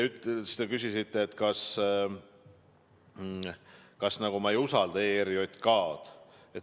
Te küsisite, kas ma nagu ei usalda ERJK-d.